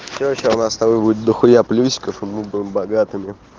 все сейчас у нас с тобой будет до хуя плюсиков и мы будем богатыми